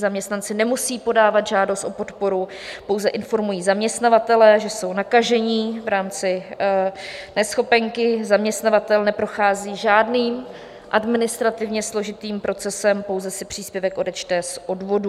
Zaměstnanci nemusejí podávat žádost o podporu, pouze informují zaměstnavatele, že jsou nakažení, v rámci neschopenky, zaměstnavatel neprochází žádným administrativně složitým procesem, pouze si příspěvek odečte z odvodů.